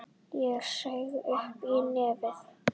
Ég saug upp í nefið.